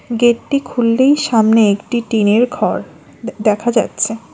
Gate -টি খুললেই সামনে একটি টিন - এর ঘর দেখা যাচ্ছে।